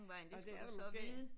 Nåh det er der måske?